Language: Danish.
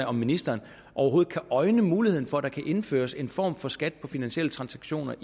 om ministeren overhovedet kan øjne muligheden for at der indføres en form for skat på finansielle transaktioner